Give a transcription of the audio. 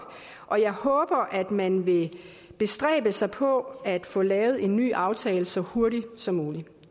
og jeg håber at man vil bestræbe sig på at få lavet en ny aftale så hurtigt som muligt